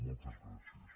moltes gràcies